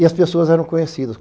E as pessoas eram conhecidas.